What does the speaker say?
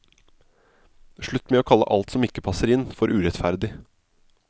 Slutt med å kalle alt som ikke passer inn, for urettferdig.